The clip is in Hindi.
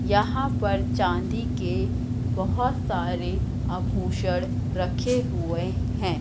यहां पर चांदी के बहोत सारे आभूषण रखे हुए हैं।